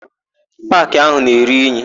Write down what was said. Paakị áhù na-eru inyi.